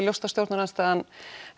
ljóst að stjórnarandstaðan